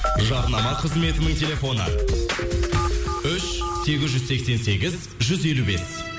жарнама қызметінің телефоны үш сегіз жүз сексен сегіз жүз елу бес